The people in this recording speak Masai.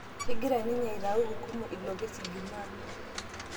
Kegira ninye aitau hukumu ilo kesi jumaa